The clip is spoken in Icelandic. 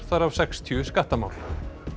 þar af sextíu skattamál